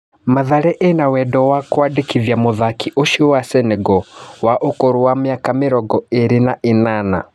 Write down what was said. Mathare ĩna wendo wa kwandĩkithia mũthaki ũcio wa Senego wa ũkũrũ wa mĩaka mĩrongo ĩrĩ na ĩnana.